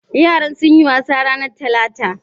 Yaran sunyi wasa ranar talata?